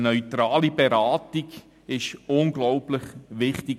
Eine neutrale Beratung ist hier unglaublich wichtig.